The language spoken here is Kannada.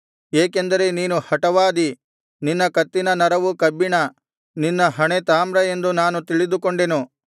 ಏಕೆಂದರೆ ನೀನು ಹಟವಾದಿ ನಿನ್ನ ಕತ್ತಿನ ನರವು ಕಬ್ಬಿಣ ನಿನ್ನ ಹಣೆ ತಾಮ್ರ ಎಂದು ನಾನು ತಿಳಿದುಕೊಂಡೆನು